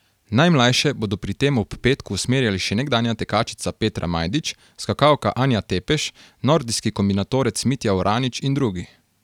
Najmlajše bodo pri tem ob Petku usmerjali še nekdanja tekačica Petra Majdič, skakalka Anja Tepeš, nordijski kombinatorec Mitja Oranič in drugi.